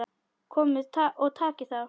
Komiði og takið þá!